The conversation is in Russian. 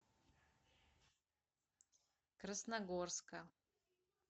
красногорска